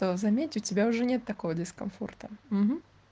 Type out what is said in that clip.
то заметь у тебя уже нет такого дискомфорта